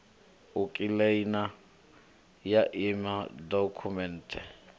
u kiḽeima ya emia dokhumenthe